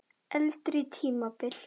Eldri tímabil